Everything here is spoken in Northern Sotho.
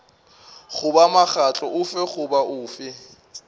goba mokgatlo ofe goba ofe